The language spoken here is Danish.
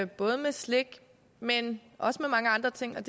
både med slik men også med mange andre ting og